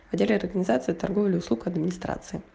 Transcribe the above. ходили от организации торговля услуг администрации